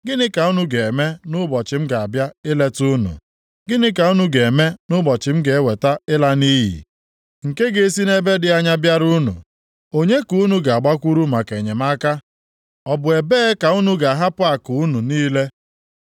Gịnị ka unu ga-eme nʼụbọchị m ga-abịa ileta unu? Gịnị ka unu ga-eme nʼụbọchị m ga-eweta ịla nʼiyi, nke ga-esi nʼebe dị anya bịara unu? Onye ka unu ga-agbakwuru maka enyemaka? Ọ bụ ebe ka unu ga-ahapụ akụ unu niile?